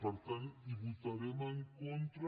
per tant hi votarem en contra